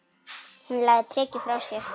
Hún lagði prikið frá sér.